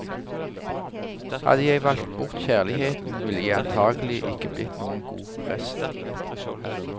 Hadde jeg valgt bort kjærligheten, ville jeg antagelig ikke blitt noen god prest.